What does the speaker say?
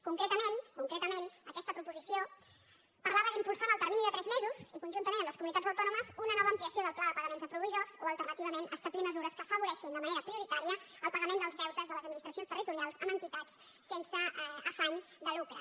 con·cretament concretament aquesta proposició parlava d’impulsar en el termini de tres mesos i conjuntament amb les comunitats autònomes una nova ampliació del pla de pagaments a proveïdors o alternativament establir mesures que afavoreixin de manera prioritària el pagament dels deutes de les administracions territo·rials amb entitats sense afany de lucre